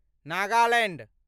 Nagaland